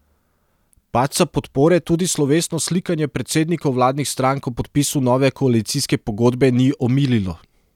Padca podpore tudi slovesno slikanje predsednikov vladnih strank ob podpisu nove koalicijske pogodbe ni omililo.